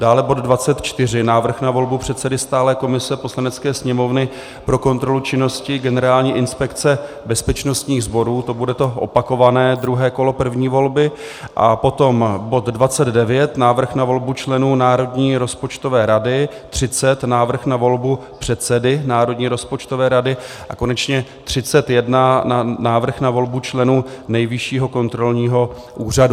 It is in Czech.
Dále bod 24, Návrh na volbu předsedy stálé komise Poslanecké sněmovny pro kontrolu činnosti Generální inspekce bezpečnostních sborů, to bude to opakované druhé kolo první volby, a potom bod 29, Návrh na volbu členů Národní rozpočtové rady, 30, Návrh na volbu předsedy Národní rozpočtové rady, a konečně 31, Návrh na volbu členů Nejvyššího kontrolního úřadu.